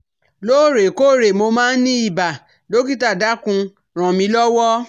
Lóòrè kóòrè mo máa ń ní ibà, dọ́kítà dákùn ràn mí lọ́wọ́